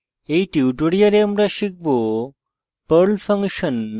in tutorial আমরা শিখব